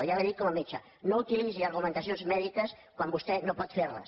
i ara li ho dic com a metge no utilitzi argumentacions mèdiques quan vostè no pot fer les